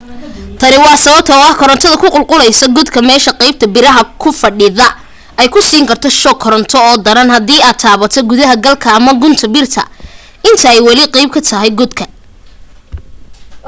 tani waa sababta oo ah korantada ku qulquleysa godka meesha qaybta biraha ku fadhida ay ku siin karto shoog koronto oo daran haddii aad taabato gudaha galka ama gunta birta inta ay wali qeyb ka tahay godka